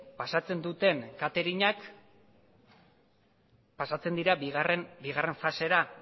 pasatzen duten katering ak pasatzen dira bigarren fasera